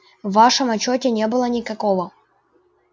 в вашем отчёте не было никакого